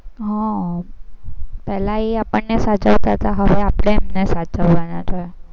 હા પેલા એ આપણને સાચવતા તા હવે આપણે એમને સાચવવાના છે.